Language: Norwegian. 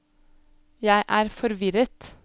jeg er forvirret